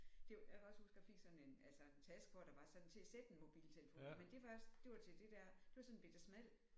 Det jeg kan også huske jeg fik sådan en altså en taske hvor der var sådan til at sætte en mobiltelefon men det var det var til det der det var sådan en bette smal